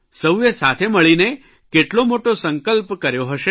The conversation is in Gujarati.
સૌએ સાથે મળીને કેટલો મોટો સંકલ્પ કર્યો હશે